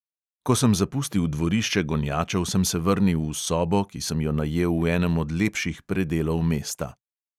Ko sem zapustil dvorišče gonjačev, sem se vrnil v sobo, ki sem jo najel v enem od lepših predelov mesta.